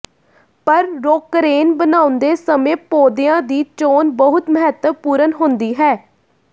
ਪਰ ਰੌਕਰੇਨ ਬਣਾਉਂਦੇ ਸਮੇਂ ਪੌਦਿਆਂ ਦੀ ਚੋਣ ਬਹੁਤ ਮਹੱਤਵਪੂਰਨ ਹੁੰਦੀ ਹੈ